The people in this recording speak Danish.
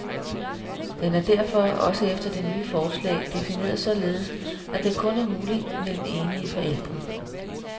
Den er derfor, også efter det nye forslag, defineret således, at den kun er mulig mellem enige forældre.